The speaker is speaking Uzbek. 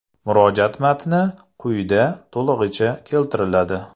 Murojaat matni quyida to‘lig‘icha keltiriladi.